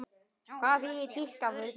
Hvað þýðir tíska fyrir þér?